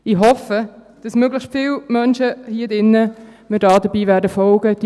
Ich hoffe, dass möglichst viele Menschen hier drin mir dabei folgen werden.